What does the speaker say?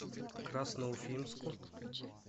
красноуфимску